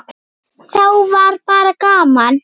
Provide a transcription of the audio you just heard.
Þá var bara gaman.